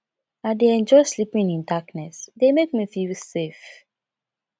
i dey enjoy sleeping in darkness e dey make me feel safe